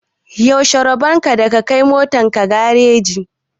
Yaushe rabon da ka kai motar ka gareji?